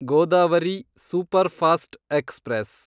Godavari superfast express